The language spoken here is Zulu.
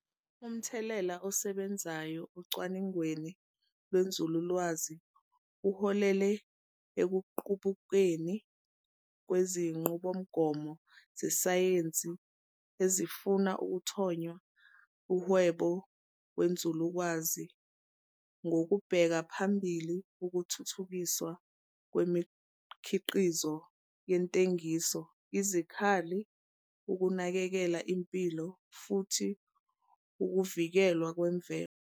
Umthelela osebenzayo ocwaningweni lwenzululwazi uholele ekuqubukeni kwezinqubomgomo zesayensi ezifuna ukuthonya umhwebo wenzulukeazi ngokubeka phambili ukuthuthukiswa kwemikhiqizo yezentengiso, izikhali, ukunakekela impilo, futhiukuvikelwa kwemvelo.